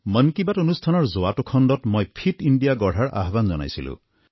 মন কী বাতৰ যোৱা অনুষ্ঠানত যোৱাটো খণ্ডত মই ফিট ইণ্ডিয়া গঢ়াৰ আহ্বান জনাইছিলোঁ